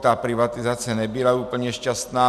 Ta privatizace nebyla úplně šťastná.